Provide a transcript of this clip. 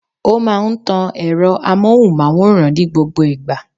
Ó máa n tan èro amóhùnmáwòrán ní gbogbo ìgbà